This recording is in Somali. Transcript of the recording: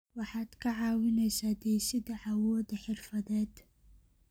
Waxaad ka caawinaysaa dhisidda awoodda xirfadeed.